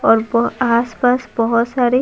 और आसपास बहुत सारे।